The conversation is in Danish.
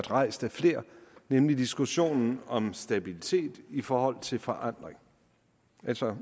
rejst af flere nemlig diskussionen om stabilitet i forhold til forandring altså